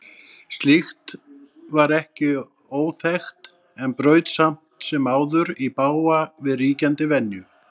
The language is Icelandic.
Slíkt var ekki óþekkt en braut samt sem áður í bága við ríkjandi venju.